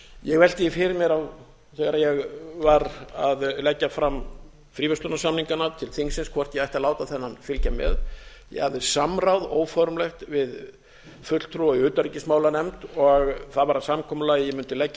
ég velti því fyrir mér þegar ég var að leggja fram fríverslunarsamningana til þingsins hvort ég ætti að láta þennan fylgja með ég hafði samráð óformlegt við fulltrúa í utanríkismálanefnd og það varð að samkomulagi að ég mundi leggja